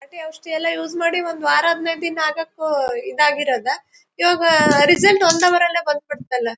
ನಾಟಿ ಔಷದಿಯೆಲ್ಲಾ ಯೂಸ್ ಮಾಡಿ ಒಂದ್ ವಾರ ಆದ್ ಮೇಲೆ ದಿನ್ ಆಗಕೂ ಈದ್ ಆಗಿರೋದ್ ಇವಾಗ ರಿಸಲ್ಟ್ ಒಂದೇ ವಾರಅಲ್ಲೇ ಬಂದ್ ಬಿಡ್ ತ್ತಲ್ಲಾ.